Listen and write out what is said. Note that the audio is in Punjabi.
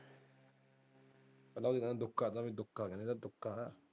ਪਤਾ ਕਿਵੇਂ ਦੁਕਾ ਦੁਕਾ ਦੁਕਾ।